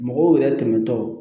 Mɔgɔw yɛrɛ tɛmɛtɔ